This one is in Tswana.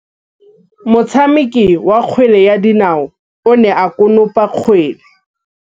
Motshameki wa kgwele ya dinaô o ne a konopa kgwele.